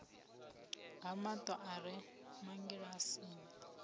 ha mato a re mangilasini